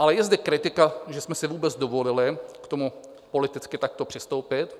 Ale je zde kritika, že jsme si vůbec dovolili k tomu politicky takto přistoupit.